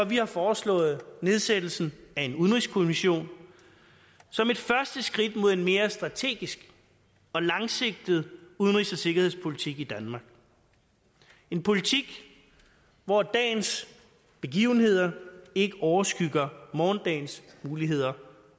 vi har foreslået nedsættelsen af en udenrigskommission som et første skridt mod en mere strategisk og langsigtet udenrigs og sikkerhedspolitik i danmark en politik hvor dagens begivenheder ikke overskygger morgendagens muligheder